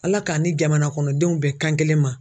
ALA k'an ni jamana kɔnɔdenw bɛn kan kelen ma.